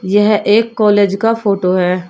यह एक कॉलेज का फोटो है।